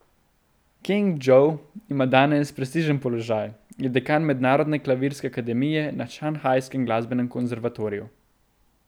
Keng Džov ima danes prestižen položaj, je dekan mednarodne klavirske akademije na šanghajskem glasbenem konservatoriju.